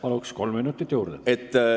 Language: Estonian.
Palun, kolm minutit juurde!